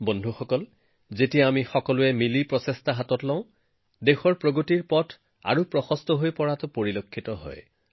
বন্ধুসকল আমি যেতিয়াই একত্ৰিতভাৱে প্ৰচেষ্টা হাতত লৈছো তেতিয়াই আমাৰ দেশৰ উন্নয়ন যাত্ৰাত ইতিবাচক প্ৰভাৱ পেলাইছে